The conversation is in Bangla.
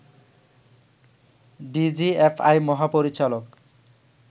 ডিজিএফআই মহাপরিচালক